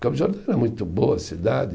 Campos do Jordão era muito boa a cidade.